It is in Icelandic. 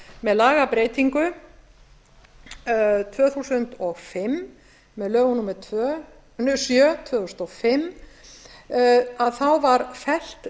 með lagabreytingu tvö þúsund og fimm með lögum númer sjö tvö þúsund og fimm að þá var felldur